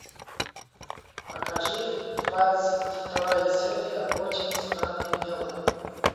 покажи двадцать вторая серия очень странные дела